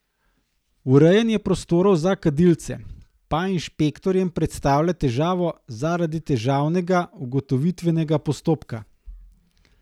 Urejanja prostorov za kadilce pa inšpektorjem predstavlja težavo zaradi težavnega ugotovitvenega postopka.